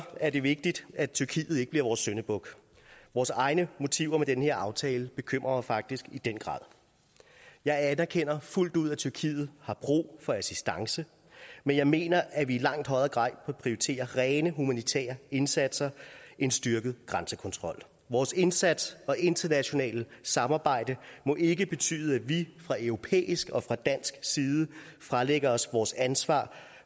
er det vigtigt at tyrkiet ikke bliver vores syndebuk vores egne motiver med den her aftale bekymrer mig faktisk i den grad jeg anerkender fuldt ud at tyrkiet har brug for assistance men jeg mener at vi i langt højere grad prioritere rene humanitære indsatser end styrket grænsekontrol vores indsats og internationale samarbejde må ikke betyde at vi fra europæisk og fra dansk side fralægger os vores ansvar